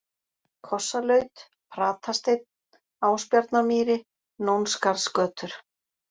Kossalaut, Pratasteinn, Ásbjarnarmýri, Nónskarðsgötur